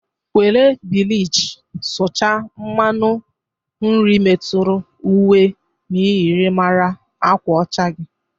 Were bịlịchị sụcha mmanụ nri meturu uwe myịrịmara agwa ọcha gi!